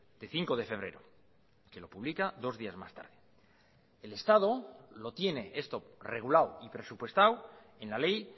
de cinco de febrero que lo publica dos días más tarde el estado lo tiene esto regulado y presupuestado en la ley